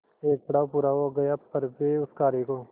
एक पड़ाव पूरा हो गया पर वे उस कार्य को